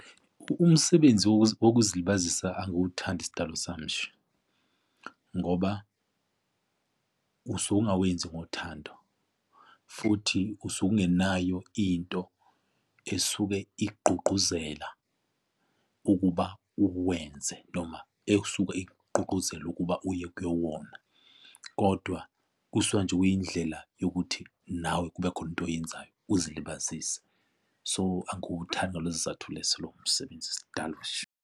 Umsebenzi wokuzilibazisa angiwuthandi sidalo sami nje ngoba usuke ongawenzi ngothando futhi usuke ungenayo into esuke ikgqugquzela ukuba uwenze noma ekusuke ikgqugquzele ukuba uye kuwona, kodwa kusuka nje kuyindlela yokuthi nawe kubekhona into oyenzayo uzilibazise. So, angiwuthandi ngalezo sizathu leso lowo msebenzi sidalo nje.